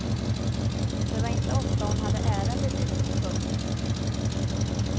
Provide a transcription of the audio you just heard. Det var inte ofta hon hade ärende dit in. punkt